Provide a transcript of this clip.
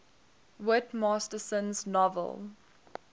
whit masterson's novel